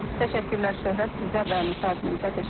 Təşəkkürlər Şöhrət, sizə və müsahibinizə təşəkkür edirik.